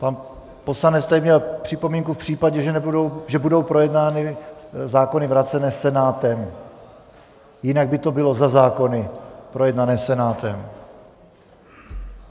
Pan poslanec tady měl připomínku - v případě, že budou projednány zákony vrácené Senátem, jinak by to bylo za zákony projednané Senátem.